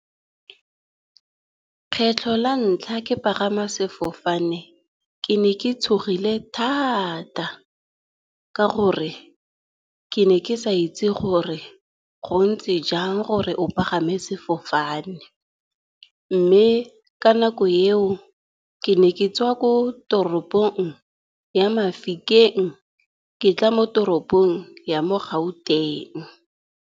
Kgetlho la ntlha ke pagama sefofane, ke ne ke tshogile thata, ka gore ke ne ke sa itse gore go ntse jang gore o pagame sefofane. Mme ka nako eo ke ne ke tswa ko toropong ya Mafikeng ke tla mo toropong ya mo Gauteng.